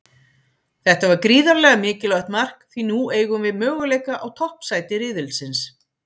Þetta var gríðarlega mikilvægt mark því nú eigum við möguleika á toppsæti riðilsins.